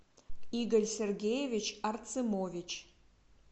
игорь сергеевич арцемович